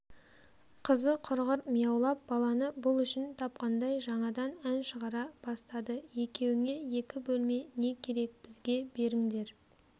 қызы құрғыр мияулап баланы бұл үшін тапқандай жаңадан ән шығара бастады екеуіңе екі бөлме не керек бізге беріңдер